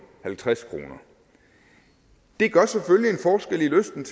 halvtreds kroner det gør selvfølgelig en forskel i lysten